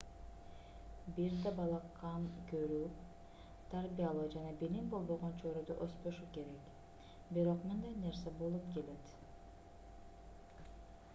бир да бала кам көрүү тарбиялоо жана билим болбогон чөйрөдө өспөшү керек бирок мындай нерсе болуп келет